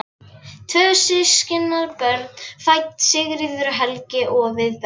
Tvö systkinabörn fædd, Sigríður og Helgi, og við bætast